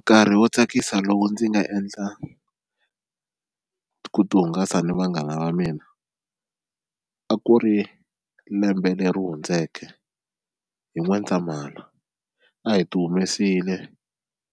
Nkarhi wo tsakisa lowu ndzi nga endla ku ti hungasa ni vanghana va mina a ku ri lembe leri hundzeke hi N'wendzamhala, a hi ti humesile